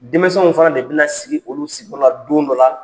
Denmisɛnw fana de bɛna sigi olu sigiyɔrɔ la don dɔ la